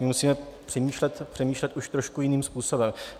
My musíme přemýšlet už trošku jiným způsobem.